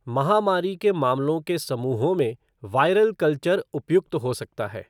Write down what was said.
महामारी के मामलों के समूहों में वायरल कल्चर उपयुक्त हो सकता है।